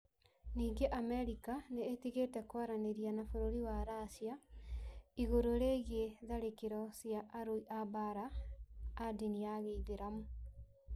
Ningĩ Amerika nĩ ĩtigĩte kwaranĩria na bũrũri wa Racia igũrũ rĩgiĩ tharĩkĩro cia arũi a mbaara a ndini ya gĩithiramu.